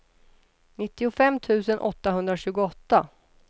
nittiofem tusen åttahundratjugoåtta